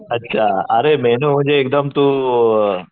अच्छा अरे मेन्यू म्हणजे एकदम तू